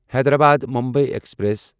Hyderabad Mumbai express